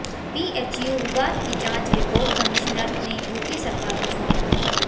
BHU विवाद की जांच रिपोर्ट कमिश्नर ने यूपी सरकार को सौंप दी